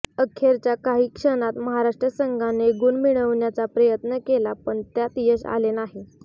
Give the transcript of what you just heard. अखेरच्या काही क्षणात महाराष्ट्र संघाने गुण मिळविण्याचा प्रयत्न केला पण त्यात यश आले नाही